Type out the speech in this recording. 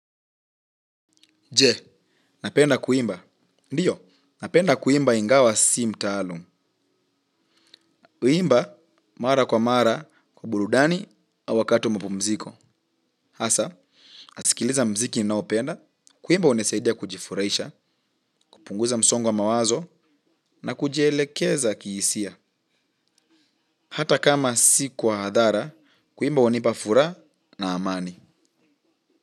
Je, napenda kuimba. Ndiyo, napenda kuimba ingawa si mtaalum. Kuimba, mara kwa mara, kwa burudani, au wakati mapumziko. Hasa nasikiliza muziki ninaopenda kuimba hunisaidia kujifurahisha kupunguza msongo wa mawazo na kujielekeza kihisia. Hata kama si kwa hadhara, kuimba hunipa furaha na amani.